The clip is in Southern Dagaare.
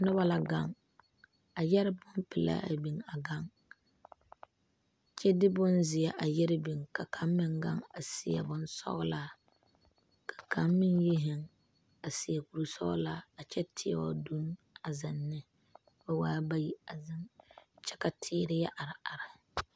Nobɔ la gaŋ a yɛre bonpelaa a biŋ a gaŋ kyɛ de bonzeɛ a yɛre biŋ ka kaŋ meŋ gaŋ a seɛ bonsɔglaa ka laŋ meŋ yi zeŋ a seɛ kurisɔglaa a kyɛ teɛ o dunne a zeŋ ne ba waa bayi a zeŋ kyɛ ka teere yɛ are are.